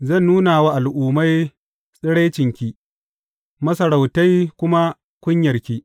Zan nuna wa al’ummai tsiraicinki, masarautai kuma kunyarki.